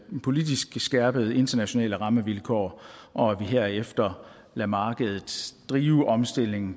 politisk skærpede internationale rammevilkår og at vi herefter lader markedet drive omstillingen